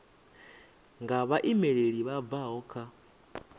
nga vhaimeleli vha bvaho kha